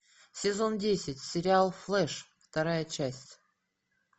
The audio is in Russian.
сезон десять сериал флэш вторая часть